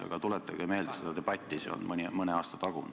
Aga tuletage meelde seda debatti, see oli mõni aasta tagasi.